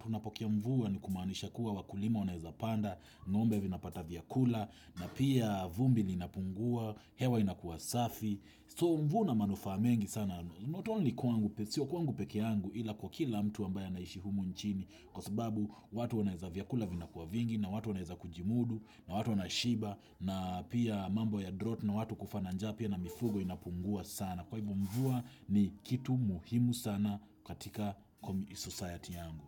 tunapokea mvua ni kumaanisha kuwa wakulima wanaeza panda, ngombe vinapata vyakula, na pia vumbi linapungua, hewa inakuwa safi. So mvua una manufaa mengi sana, not only kwangu, sio kwangu peke yangu ila kwa kila mtu ambaye anaishi humu nchini, kwa sababu watu wanaweza vyakula vinakuwa vingi, na watu wanaweza kujimudu, na watu wanashiba na pia mambo ya drought na watu kufa na njaa pia na mifugo inapungua sana. Kwahivyo mvua ni kitu muhimu sana katika society yangu.